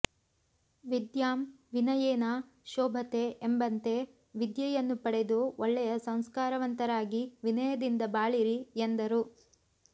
ವಿದ್ಯಾಂ ವಿನಯೇನ ಶೋಭತೆ ಎಂಬಂತೆ ವಿದ್ಯೆಯನ್ನು ಪಡೆದು ಒಳ್ಳೆಯ ಸಂಸ್ಕಾರವಂತರಾಗಿ ವಿನಯದಿಂದ ಬಾಳಿರಿ ಎಂದರು